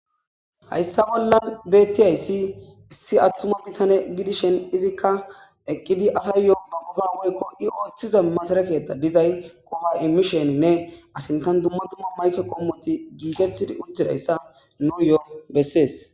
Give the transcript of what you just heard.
hayssa bollan bettiyayssi issi attuma bitane gidishen izikka eqqidi asay yoo ba gofa wuyikko i ooththiza masara ketta dizay qofa immisheninne asintan dumma dumma mayke kommoti giikethtidi ujjidayssa nuyo bessees